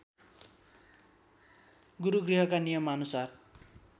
गुरूगृहका नियमानुसार